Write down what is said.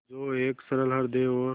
जो एक सरल हृदय और